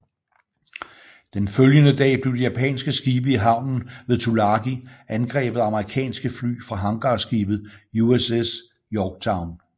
Den følgede dag blev de japanske skibe i havnen ved Tulagi angrebet af amerikanske fly fra hangarskibet USS Yorktown